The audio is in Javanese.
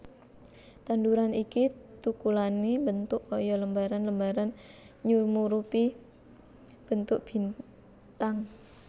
Tanduran iki tukulane mbentuk kaya lembaran lembaran nyumurupi bentuk bintang